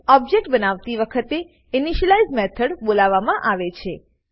object બનતી વખતે initialize method બોલાવવામાં આવે છે